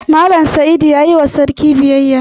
Mallam Saidu ya yi wa sarki biyayya.